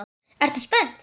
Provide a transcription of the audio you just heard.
Ertu spennt?